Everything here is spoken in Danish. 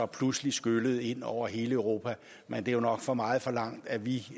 pludselig skyllede ind over hele europa men det er nok for meget forlangt at vi